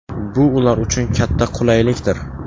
Bu ular uchun katta qulaylikdir.